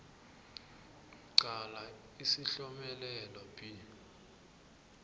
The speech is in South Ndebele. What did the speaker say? qala isihlomelelo b